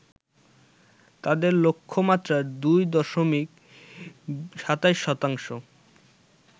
তাদের লক্ষ্যমাত্রার ২ দশমিক ২৭ শতাংশ